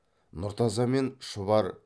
нұртаза мен шұбар